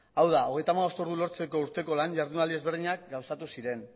hau da hogeita hamabost ordu lortzeko urteko lan ihardunaldi ezberdinak gauzatu ziren